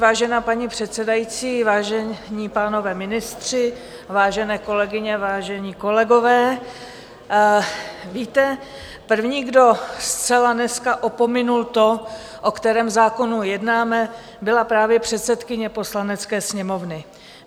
Vážená paní předsedající, vážení pánové ministři, vážené kolegyně, vážení kolegové, víte, první, kdo zcela dneska opomenul to, o kterém zákonu jednáme, byla právě předsedkyně Poslanecké sněmovny.